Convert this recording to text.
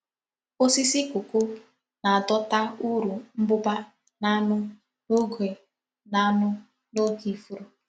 Osisi kọkó na-adọta uru nbụ́bà na aṅụ n’oge na aṅụ n’oge ifuru.